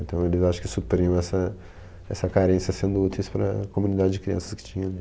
Então, eles acho que supriam essa essa carência sendo úteis para a comunidade de crianças que tinha ali.